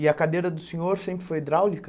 E a cadeira do senhor sempre foi hidráulica?